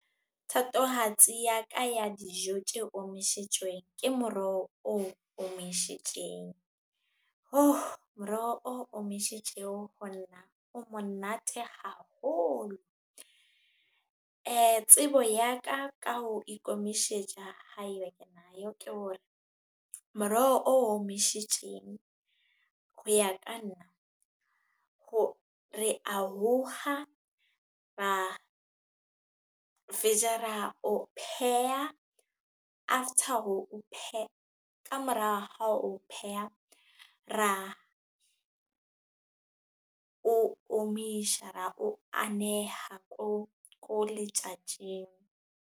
Thatohatsi ya ka ya dijo tje omishitjweng ke moroho o omishitjeng. Moroho o omishitjweng ho nna o monate haholo. Tsebo ya ka, ka ho ikomishetja haeba ke nayo ke hore moroho o omishetjeng ho ya ka nna, re a hokga ra fetja ra o pheha ka mora ho pheha, ra o omisha, ra o aneha ko letjatjing.